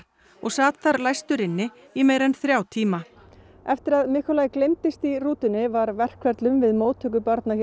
og sat þar læstur inni í meira en þrjá tíma eftir að gleymdist í rútunni var verkferlum við móttöku barna